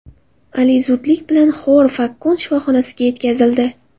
Ali zudlik bilan Xor-Fakkan shifoxonasiga yetkazildi.